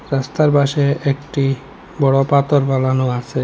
রাস্তার পাশে একটি বড় পাতর ফেলানো আসে।